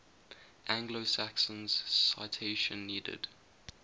anglo saxons citation needed